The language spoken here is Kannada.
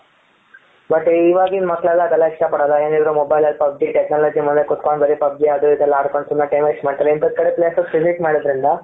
but ಇವಾಗಿನ ಮಕ್ಕಳೆಲ್ಲ ಅದೆಲ್ಲ ಇಷ್ಟ ಪಡಲ್ಲ ಏನಿದ್ರೂ mobile ಅಲ್ಲಿ pub g technology ನೋಡ್ಕೊಂಡ್ ಕುಂತ್ಕೊಂಡ್ ಬರೀ pub g ಅದು ಎಲ್ಲಾ ಆಡ್ಕೊಂಡು ಸುಮ್ನೆ time waste ಮಾಡ್ತಾರೆ ಇಂತದ್ರು ಕಡೆ places visit ಮಾಡೋದ್ರಿಂದ.